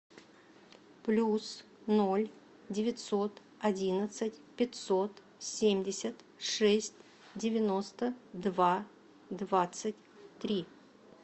плюс ноль девятьсот одиннадцать пятьсот семьдесят шесть девяносто два двадцать три